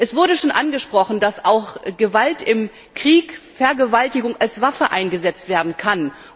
Es wurde schon angesprochen, dass im Krieg Vergewaltigung als Waffe eingesetzt werden kann.